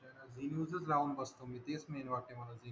हि न्यूज च लावून बसतो मी तेच मेन वाटतंय मला